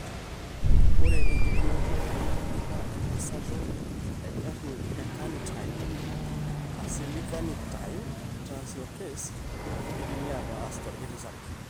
Ore enkipimoto entalipa entasato ecarnitine acylcarnitine translocase keidimi aataas torkiti sarge.